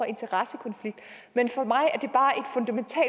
interessekonflikt men for mig er det er